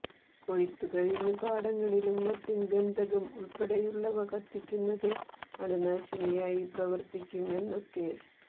കൊയ്ത്തു കഴിഞ്ഞ പാടങ്ങളിലും മറ്റും ഗന്ധകം ഉൾപ്പെടെയുള്ളവ കത്തിക്കുന്നത് അണുനാശിനിയായി പ്രവർത്തിക്കും എന്നൊക്കെ